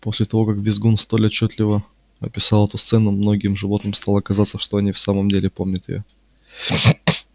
после того как визгун столь отчётливо описал эту сцену многим животным стало казаться что они в самом деле помнят её